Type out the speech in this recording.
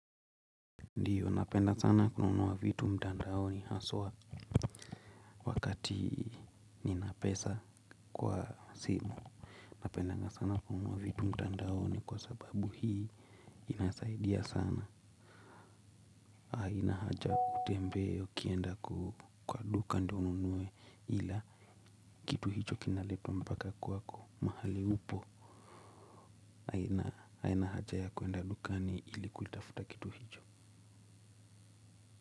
Ndiyo napenda sana kununua vitu mtandaoni haswa. Wakati ninapesa kwa simu napendanga sana kununua vitu mtandaoni kwa sababu hii inasaidia sana haina haja kutembea ukienda kwa duka ndio ununue ila kitu hicho kinaletwa mpaka kwako. Mahali upo haina haja ya kuenda dukani ili kuitafuta kitu hicho.